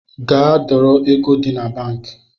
Gaa dọrọ ego gi na banki